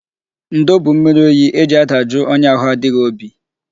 Ndo bụ mmiri oyi e ji adajụ onye ahụ adịghị obi.